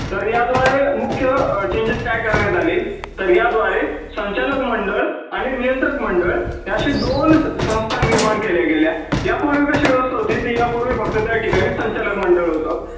तर या द्वारे मुख्य changes काय करण्यात आले तर या द्वारे संचालक मंडळ आणि नियंत्रक मंडळ असे दोन संस्था निर्माण केल्या गेल्या. या पूर्वी कशी व्यवस्था होती, तर या पूर्वी फक्त त्या ठिकाणी संचालक मंडळ होतं.